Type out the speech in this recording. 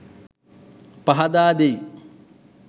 පහදා දෙයි.